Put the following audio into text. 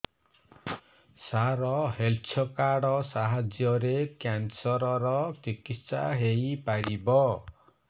ସାର health card ସାହାଯ୍ୟରେ cancer ର ଚିକିତ୍ସା ହେଇପାରିବ